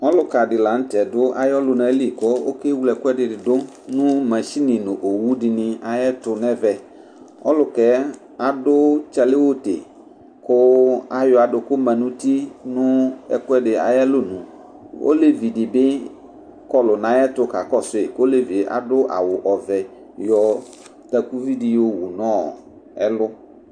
Ɔlʋka di kanʋ tɛ dʋ ayʋ ɔlʋnali kʋ okewle ɛkʋɛdini dʋ nʋ owʋdini nʋ mashini ayʋ ɛtʋ nʋ ɛvɛ ɔlʋka yɛ adʋ tchaliwʋdi kʋ ayɔ aduku manʋ uti nʋ ɛkʋɛdi ayʋ alɔnʋ olevidibi kɔlʋ nʋ ayʋ ɛtʋ kakɔsʋ yi olevie adʋ awʋ ɔvɛ yɔ takʋvi di yɔwʋ nʋ ɛkɛ